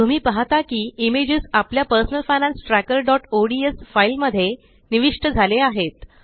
तुम्ही पाहता की इमेजस आपल्या personal finance trackerओडीएस फाइल मध्ये निविष्ट झाले आहेत